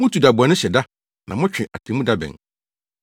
Mutu da bɔne hyɛ da na motwe atemmuda bɛn.